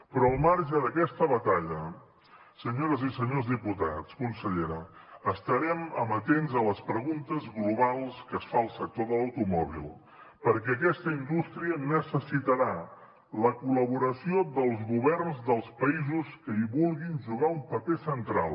però al marge d’aquesta batalla senyores i senyors diputats consellera estarem amatents a les preguntes globals que es fa el sector de l’automòbil perquè aquesta indústria necessitarà la col·laboració dels governs dels països que hi vulguin jugar un paper central